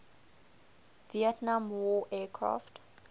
vietnam war aircraft